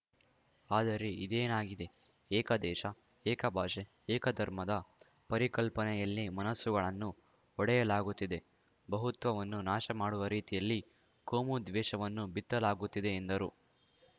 ಆದರೆ ಇದೇನಾಗಿದೆ ಏಕ ದೇಶ ಏಕ ಭಾಷೆ ಏಕ ಧರ್ಮದ ಪರಿಕಲ್ಪನೆಯಲ್ಲಿ ಮನಸ್ಸುಗಳನ್ನು ಒಡೆಯಲಾಗುತ್ತಿದೆ ಬಹುತ್ವವನ್ನು ನಾಶ ಮಾಡುವ ರೀತಿಯಲ್ಲಿ ಕೋಮು ದ್ವೇಷವನ್ನು ಬಿತ್ತಲಾಗುತ್ತಿದೆ ಎಂದರು